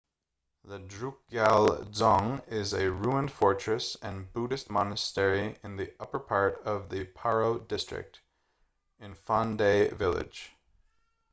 the drukgyal dzong is a ruined fortress and buddhist monastery in the upper part of the paro district in phondey village